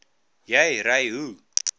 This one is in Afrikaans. jy ry hoe